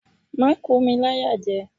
Má kò mi láyàjẹ!